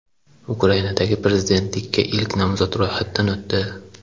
Ukrainada prezidentlikka ilk nomzod ro‘yxatdan o‘tdi.